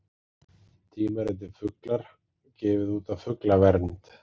Tímaritið Fuglar, gefið út af Fuglavernd.